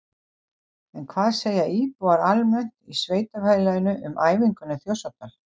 En hvað segja íbúar almennt í sveitarfélaginu um æfinguna í Þjórsárdal?